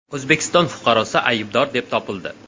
O‘zbekiston fuqarosi aybdor deb topildi.